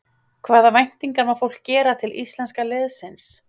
Hvaða væntingar má fólk gera til íslenska liðsins?